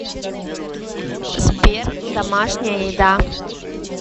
сбер домашняя еда